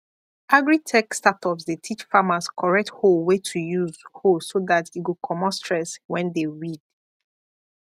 agritech startups dey teach farmers correct hoe way to use hoe so that e go comot stress when dey weed